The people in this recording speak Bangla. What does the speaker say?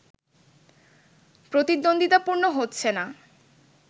প্রতিদ্বন্দ্বিতাপূর্ণ হচ্ছে না